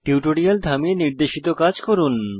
tutorial থামিয়ে নির্দেশিত কাজ করুন